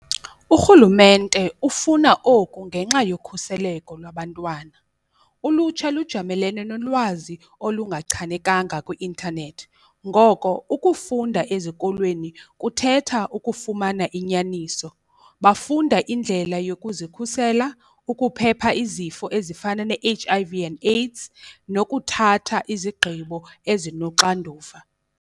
Urhulumente ufuna oku ngenxa yokhuseleko lwabantwana, ulutsha lujamelene nolwazi olungachanekanga kwi-intanethi ngoko ukufunda ezikolweni kuthetha ukufumana inyaniso. Bafunda indlela yokuzikhusela, ukuphepha izifo ezifana ne-H_I_V and AIDS nokuthatha izigqibo ezinoxanduva.